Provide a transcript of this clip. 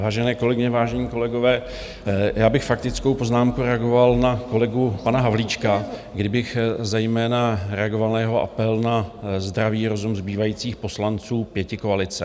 Vážené kolegyně, vážení kolegové, já bych faktickou poznámkou reagoval na kolegu pana Havlíčka, kdy bych zejména reagoval na jeho apel na zdravý rozum zbývajících poslanců pětikoalice.